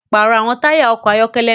Parọ awọn taya ọkọ ayọkẹlẹ náà!